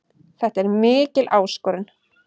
Þetta er mikil áskorun.